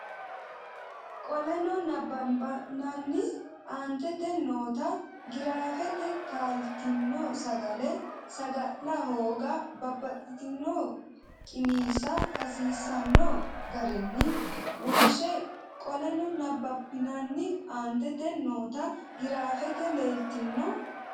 Qoleno nabbabbinanni aantete noota giraafete taaltino sagale saga la hooga babbaxxino qiniishsha hasiisanno garinni wonshshe Qoleno nabbabbinanni aantete noota giraafete taaltino.